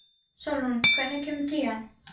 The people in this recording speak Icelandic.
Sólrún, hvenær kemur tían?